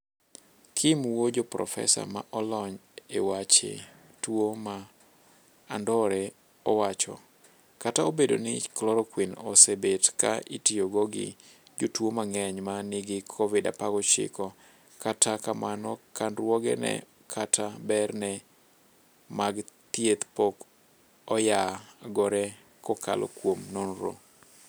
Kim woo joo profesa ma olony e wache tuo ma andore owacho: " kata obedo ni chloroquine osebet ka itiyo go gi jotuo mang'eny ma nigi kovid 19 kata kamano candruoge ne kata ber ne mag thieth pok oyagore kokalo kuom nonro.